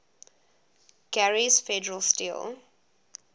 gary's federal steel